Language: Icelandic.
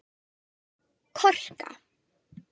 Korka